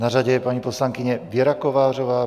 Na řadě je paní poslankyně Věra Kovářová.